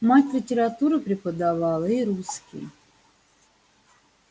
мать литературу преподавала и русский